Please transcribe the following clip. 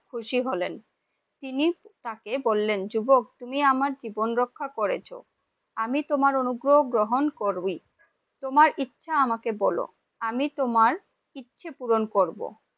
খুশি হলেন, তিনি তাকে বললেন, যুবক তুমি আমার জীবন রক্ষা করেছো, আমি তোমার অনুগ্রহ গ্রহণ করবি, তোমার ইচ্ছা আমাকে বলো, আমি তোমার ইচ্ছা পুরন করব ।